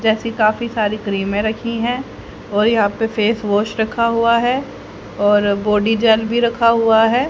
जैसी काफी सारी क्रीमे सारी में रखी हैं और यहां पे फेस वॉश रखा हुआ है और बॉडी जेल भी रखा हुआ है।